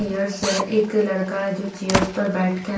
chairs है एक लड़का है जो चेयर्स पर बैठ के--